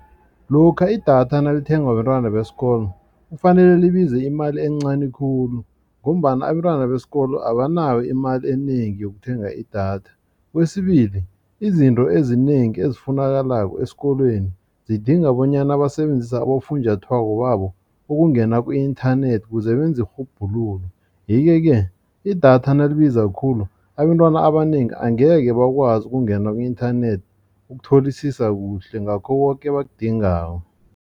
Lokha idatha nalithengwa bentwana besikolo kufanele libize imali encani khulu ngombana abentwana besikolo abanayo imali enengi yokuthenga idatha. Kwesibili izinto ezinengi ezifunakalako esikolweni zidinga bonyana basebenzise abofunjathwako babo ukungena ku-inthanethi ukuze benze irhubhululo. Yeke-ke idatha nalibiza khulu abentwana abanengi angeke bakwazi ukungena ku-inthanethi ukutholisisa kuhle ngakho koke abakudingako.